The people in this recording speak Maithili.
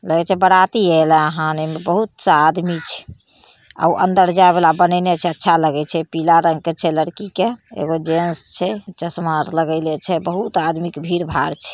लगय छै बराती एलाहन एमे बहुत सा आदमी छै आ उ अंदर जाय वाला बनेएने छै अच्छा लगे छै पीला रंग के छै लड़की के एगो जेंट्स छै चश्मा आर लगेले छै बहुत आदमी के भीड़ भाड़ छै।